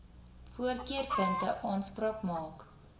voorkeurpunte aanspraak maak